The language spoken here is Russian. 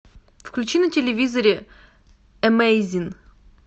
включи на телевизоре эмейзин